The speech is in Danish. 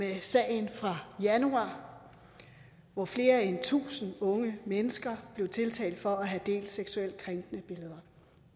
i sagen fra januar hvor flere end tusind unge mennesker blev tiltalt for at have delt seksuelt krænkende billeder